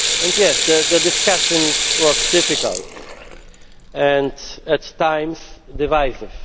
Yes, the discussion was difficult and at times divisive.